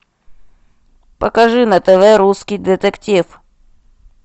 покажи на тв русский детектив